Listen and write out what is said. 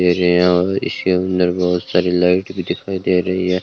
इसके अंदर बहुत सारी लाइट भी दिखाई दे रही है।